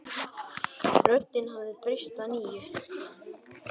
Röddin hafði breyst að nýju.